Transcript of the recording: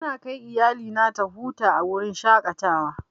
Ina kai iyalina ta huta a wurin shaƙatawa.